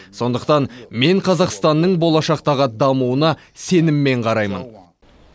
сондықтан мен қазақстанның болашақтағы дамуына сеніммен қараймын